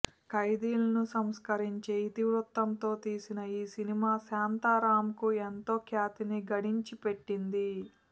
ఖైదీలను సంస్కరించే ఇతివృత్తంతో తీసిన యీ సినిమా శాంతారాంకు ఎంతో ఖ్యాతిని గడించిపెట్టింది